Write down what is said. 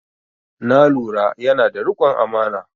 Na lura yana da riƙon amana